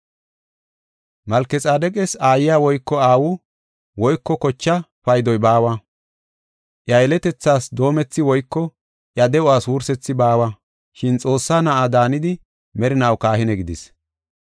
Malkexaadeqas aayiya woyko aawu woyko kocha paydoy baawa. Iya yeletethaas doomethi woyko iya de7uwas wursethi baawa, shin Xoossaa Na7a daanidi merinaw kahine gidis.